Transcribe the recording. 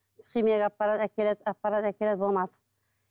химияға апарады әкеледі апарады әкеледі болмады